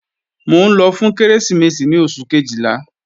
Mò ń lọ fún Kérésìmesì ní oṣù Kejìlá